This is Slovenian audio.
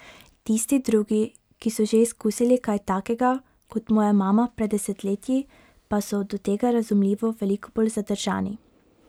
Tisti drugi, ki so že izkusili kaj takega, kot moja mama pred desetletji, pa so do tega razumljivo veliko bolj zadržani.